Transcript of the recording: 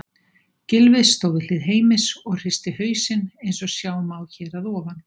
Gylfi stóð við hlið Heimis og hristi hausinn eins og sjá má hér að ofan.